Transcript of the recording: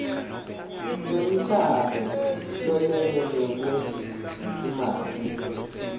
semklamo lolekelelwe ngetimali